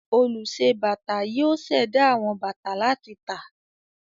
Olùṣe-bàtà yóò ṣẹ̀dá àwọn bàtà láti tà.